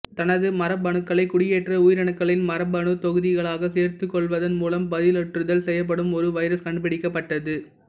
தனது மரபணுக்களை குடியேற்ற உயிரணுக்களின் மரபணுத் தொகுதிகளாக சேர்த்துக்கொள்வதன் மூலம் பதிலுறுத்தல் செய்யப்படும் ஒரு வைரஸ் கண்டுபிடிக்கப்பட்டது